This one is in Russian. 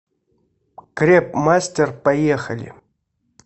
крепмастер поехали